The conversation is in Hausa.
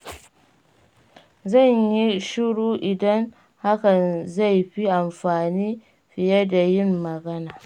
Zan yi shiru idan hakan zai fi amfani fiye da yin magana.